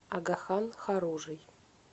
агахан хоружий